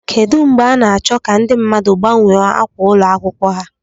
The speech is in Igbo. Kedu mgbe a na-achọ ka ndị mmadụ gbanwee ákwà ụlọ akwụkwọ ha?